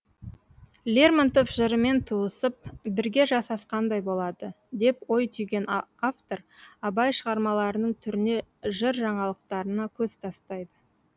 лермонтов жырымен туысып бірге жасасқандай болады деп ой түйген автор абай шығармаларының түріне жыр жаңалықтарына көз тастайды